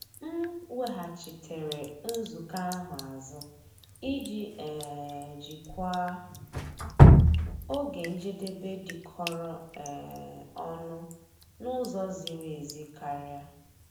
M weghachitere nzukọ ahụ azụ iji um jikwaa oge njedebe dịkọrọ um onụ n'ụzọ ziri ezi karịa.